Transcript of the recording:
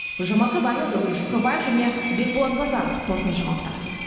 гүлжан марқабаева дәурен жұрқабаев және бекболат базаров қорытынды жаңалықтар